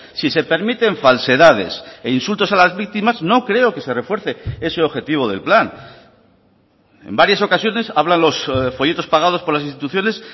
si se permiten falsedades e insultos a las víctimas no creo que se refuerce ese objetivo del plan en varias ocasiones habla los folletos pagados por las instituciones